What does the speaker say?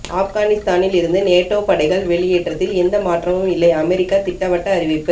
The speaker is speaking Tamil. ஆப்கானிஸ்தானில் இருந்து நேட்டோ படைகள் வெளியேற்றத்தில் எந்த மாற்றமும் இல்லை அமெரிக்க திட்டவட்ட அறிவிப்பு